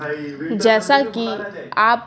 जैसा कि आप--